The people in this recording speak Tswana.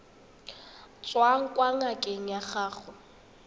tswang kwa ngakeng ya gago